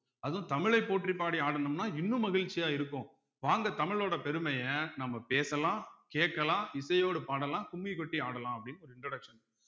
அதுவும் தமிழைப் போற்றிப் பாடி ஆடணும்னா இன்னும் மகிழ்ச்சியா இருக்கும் வாங்க தமிழோட பெருமைய நம்ம பேசலாம் கேக்கலாம் இசையோடு பாடலாம் கும்மி கொட்டி ஆடலாம் அப்படின்னு ஒரு introduction